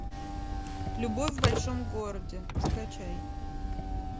любовь в большом городе закачай